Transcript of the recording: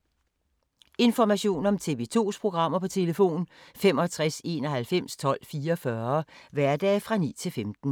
Information om TV 2's programmer: 65 91 12 44, hverdage 9-15.